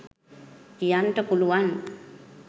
කියන්ට පුළුවන්.